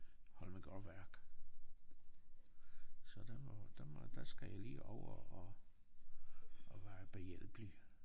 Holmegaard Værk. Så der må der må der skal jeg lige over og og være behjælpelig